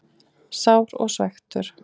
Sár og svekktur.